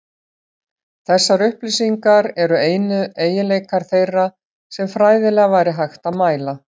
Þessar upplýsingar eru einu eiginleikar þeirra sem fræðilega væri hægt að mæla.